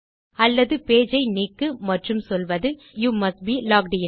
அல்லது பேஜ் ஐ நீக்கு மற்றும் சொல்வது you must be logged in